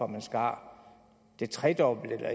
man skar det tredobbelte eller